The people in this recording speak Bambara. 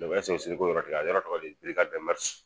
a yɔrɔ tɔgɔ de ye ko